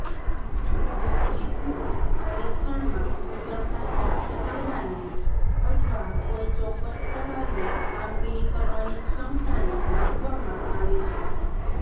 aptitude પરીક્ષણમાં કુશળતા પ્રાપ્ત કરવાની અથવા કોઈ ચોક્કસ પ્રકારની કામગીરી કરવાની ક્ષમતાને માપવામાં આવે છે